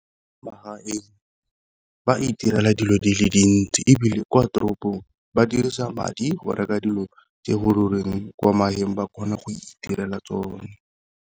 Magaeng ba itirela dilo di le dintsi, ebile kwa toropong ba dirisa madi go reka dilo tse kwa magaeng ba kgona go itirela tsone.